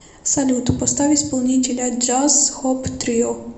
салют поставь исполнителя джаз хоп трио